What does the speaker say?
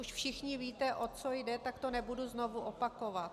Už všichni víte, o co jde, tak to nebudu znovu opakovat.